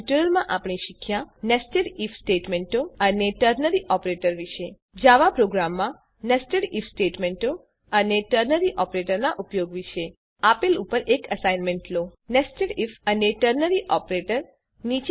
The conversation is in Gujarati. આ ટ્યુટોરીયલમાં આપણે શીખ્યા nested આઇએફ સ્ટેટમેંટો અને ટર્નરી ઓપરેટર વિશે જાવા પ્રોગ્રામમાં nested આઇએફ સ્ટેટમેંટો અને ટર્નરી ઓપરેટર નાં ઉપયોગ વિશે હવે આપેલ ઉપર એક એસાઈનમેંટ લો nested આઇએફ અને ટર્નરી ઓપરેટર